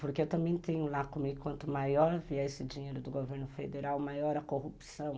Porque eu também tenho lá comigo, quanto maior vier esse dinheiro do governo federal, maior a corrupção.